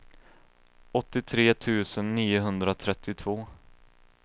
åttiotre tusen niohundratrettiotvå